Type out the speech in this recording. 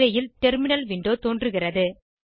திரையில் terminal window தோன்றுகிறது